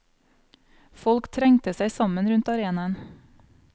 Folk trengte seg sammen rundt arenaen.